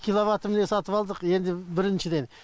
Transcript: киловатты міне сатып алдық енді біріншіден